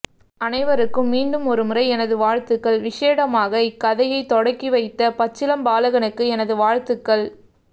அனைவருக்கும் மீண்டும் ஒருமுறை எனது வாழ்த்துக்கள் விஷேடமாக இக்கதையை தொடக்கி வைத்த பச்சிளம் பாலகனுக்கு எனது வாழ்த்துக்கள்